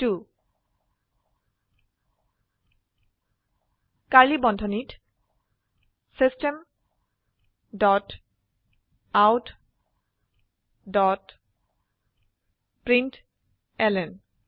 curly বন্ধনীত system dot out dot println